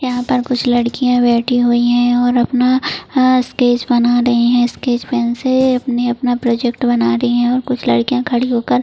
यहां पर कुछ लड़कियां बैठी हुई है और अपना स्कैच बना रही है स्कैच पेन से अपना प्रोजेक्ट बना रही है और कुछ लड़कियां खड़ी होकर --